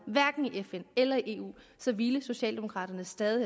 i fn eller i eu så ville socialdemokraterne stadig